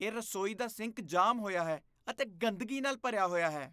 ਇਹ ਰਸੋਈ ਦਾ ਸਿੰਕ ਜਾਮ ਹੋਇਆ ਹੈ ਅਤੇ ਗੰਦਗੀ ਨਾਲ ਭਰਿਆ ਹੋਇਆ ਹੈ।